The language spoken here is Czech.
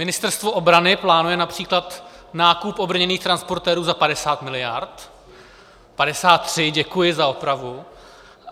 Ministerstvo obrany plánuje například nákup obrněných transportérů za 50 miliard - 53, děkuji za opravu.